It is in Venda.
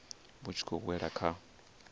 vhu tshi khou wela kha